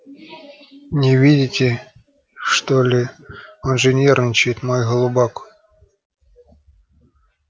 не видите что ли он же нервничает мой голубок